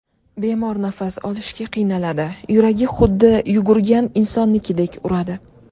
Bemor nafas olishga qiynaladi, yuragi xuddi yugurgan insonnikidek uradi.